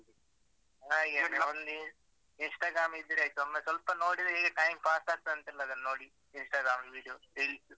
ಹಾಗೆ, Instagram ಇದ್ರೆ ಆಯ್ತು ಒಮ್ಮೆ ಸ್ವಲ್ಪ ನೋಡಿದ್ರೆ ಹೇಗೆ time pass ಆಗ್ತದಂತಿಲ್ಲ ಅದನ್ನ್ ನೋಡಿ. Instagram ಅಲ್ಲಿ video reels .